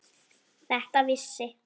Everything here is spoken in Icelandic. Þetta vissi